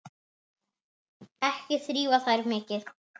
Ekki þrífa þær mikið.